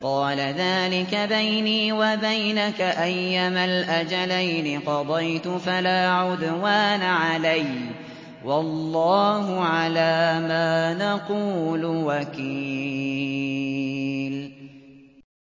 قَالَ ذَٰلِكَ بَيْنِي وَبَيْنَكَ ۖ أَيَّمَا الْأَجَلَيْنِ قَضَيْتُ فَلَا عُدْوَانَ عَلَيَّ ۖ وَاللَّهُ عَلَىٰ مَا نَقُولُ وَكِيلٌ